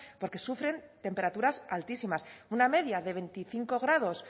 porque sufren temperaturas altísimas una media de veinticinco grados